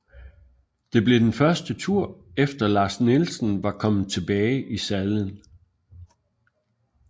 Det blev den første tur efter Lars Nielsen var kommet tilbage i sadlen